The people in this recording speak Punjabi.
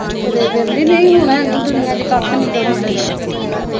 ਤੁਰੇ ਫਿਰਨਦੇ ਨੀ ਨਹੀਂ ਹੁਣ ਹੈਨੀ ਦੁਨੀਆ ਚ ਕੱਖ ਨਹੀਂ ਗਾ ਹੁਣ ਹੇਗਾ